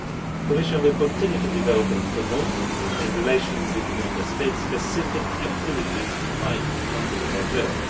The Commission will continue to develop and promote, in relation with the Member States, specific activities to fight undeclared work.